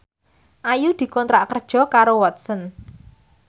Ayu dikontrak kerja karo Watson